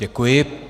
Děkuji.